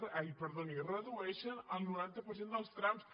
ai perdoni redueixen el noranta per cent dels trams